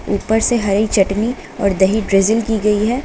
ऊपर से हरी चटनी और दही ब्रिजिंग की गई है।